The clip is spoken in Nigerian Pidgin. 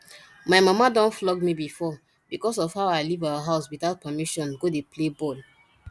my mama don flog me before because of how i leave our house without permission go dey play ball